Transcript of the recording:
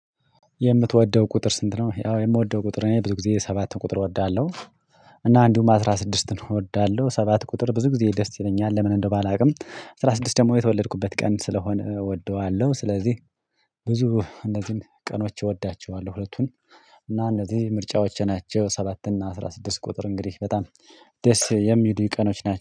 የምትወደው ቁጥር ስንት ነው? ያው የምወደው ቁጥር እኔ ብዙ ጊዜ ሰባት ቁጥር እወዳለሁ። እና አንዲሁም አስራ ስድስትን እወዳለሁ ሰባት ቁጥር ብዙ ጊዜ ደስ ይለኛል። ለምን እንደሆነ ባላውቅም አስራ ስድስት ደግሞ የተወለድኩበት ቀን ስለሆነ እወደዋለሁ። ስለዚህ ብዙ እነዚህን ቀኖች እወዳቸዋለሁ። ሁለቱን እና እነዚህ ምርጫዎች ናቸው። ሰባት እና አስራ ስድስት ቁጥር እንግዲህ በጣም ደስ የሚሉ ቀኖች ናቸው